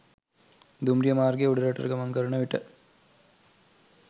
දුම්රිය මාර්ගය උඩරටට ගමන් කරන විට